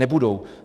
Nebudou.